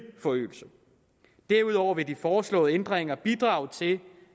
forøgelse derudover vil de foreslåede ændringer bidrage til